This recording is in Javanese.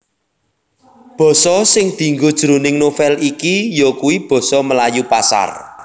Basa sing dienggo jroning novèl iki yakuwi basa Melayu Pasar